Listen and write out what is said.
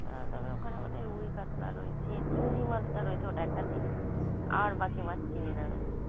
আ তবে ওখানে ওটা রুই-কাতলা রয়েছে চিংড়ি মাছটা রয়েছে ওটা একটা চিনি আর বাকি মাছ চিনি না আমি।